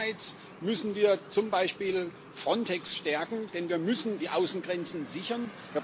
Einerseits müssen wir zum Beispiel Frontex stärken, denn wir müssen die Außengrenzen sichern.